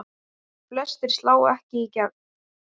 Flestir slá ekki í gegn.